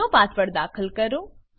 જુનો પાસવર્ડ દાખલ કરો